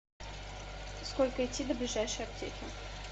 сколько идти до ближайшей аптеки